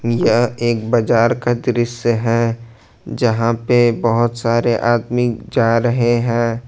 यह एक बाजार का दृश्य है जहां पे बहोत सारे आदमी जा रहे हैं।